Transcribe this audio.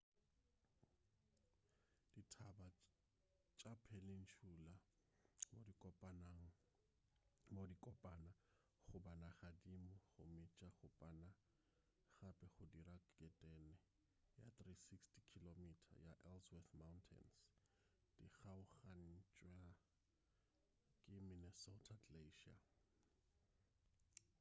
dithaba tša peninsula mo dikopana go ba nagadimo gomme tša kopana gape go dira ketane ya 360 km ya ellsworth mountains di kgaogantšwa ke minnesota glacier